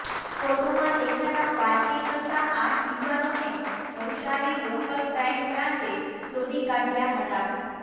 ફોટોમાં દેખાતા પાર્ટી કરતા આંઠ યુવાનોને નવસારી લોકલ ક્રાઇમ બ્રાંચે શોધી કાઢયા હતાં